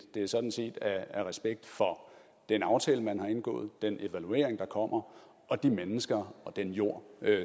det er sådan set af respekt for den aftale man har indgået den evaluering der kommer og de mennesker og den jord